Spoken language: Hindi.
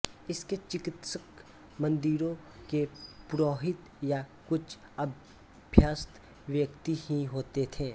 इसके चिकित्सक मंदिरों के पुरोहित या कुछ अभ्यस्त व्यक्ति ही होते थे